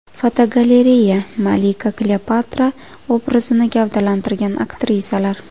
Fotogalereya: Malika Kleopatra obrazini gavdalantirgan aktrisalar.